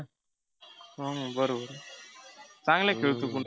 हम्म बरोबर चांगला खेळतो पण